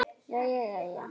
Jæja jæja.